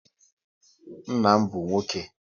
Nna m bụ nwoke